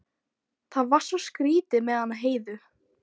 Það var svo skrýtið með hana Heiðu.